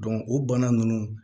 o bana ninnu